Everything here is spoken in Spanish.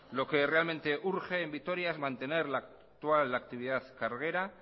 lo que realmente urge en vitoria es mantener la actual actividad carguera